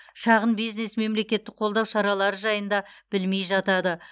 шағын бизнес мемлекеттік қолдау шаралары жайында білмей жатады